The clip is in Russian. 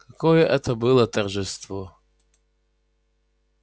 какое это было торжество